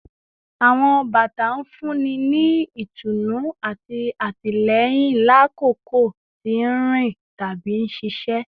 Awọn bata n funni ni itunu ati atilẹyin lakoko ti nrin tabi nṣiṣẹ